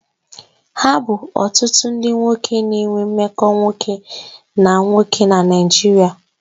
Ha bu otutu ndi nwoke na-enwe mmekọ nwoke na nwoke na Naijiria